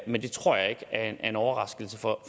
men det tror jeg ikke er en overraskelse for